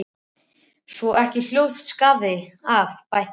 Svo ekki hljótist skaði af, bætti hann við.